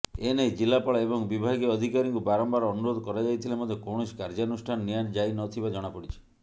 ଏ ନେଇ ଜିଲ୍ଲାପାଳ ଏବଂ ବିଭାଗୀୟ ଅଧିକାରୀଙ୍କୁ ବାରମ୍ବାର ଅନୁରୋଧ କରାଯାଇଥିଲେ ମଧ୍ୟ କୌଣସି କାର୍ଯ୍ୟାନୁଷ୍ଠାନ ନିଆଯାଇନଥିବା ଜଣାପଡିଛି